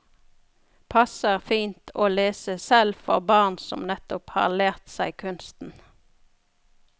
Passer fint å lese selv for barn som nettopp har lært seg kunsten.